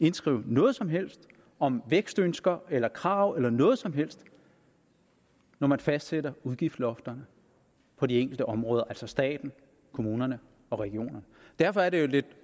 indskrive noget som helst om vækstønsker eller krav eller noget som helst når man fastsætter udgiftslofterne på de enkelte områder altså staten kommunerne og regionerne derfor er det jo et lidt